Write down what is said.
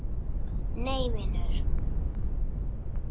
Nei vinur.